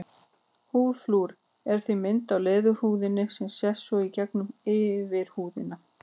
Húðflúrið er því mynd á leðurhúðinni sem sést svo í gegnum yfirhúðina.